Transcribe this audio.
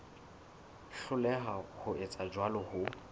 hloleha ho etsa jwalo ho